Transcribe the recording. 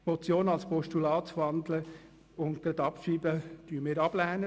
Wir lehnen es ab, die Motion in ein Postulat zu wandeln und es gleichzeitig abzuschreiben.